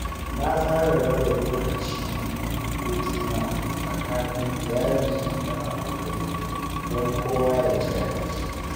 Na tsara raba lokacin hutuna tsakanin iyali da abokai don kowa ya ji daɗi.